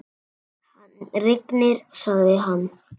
Hann rignir, sagði hann.